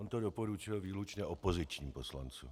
On to doporučil výlučně opozičním poslancům.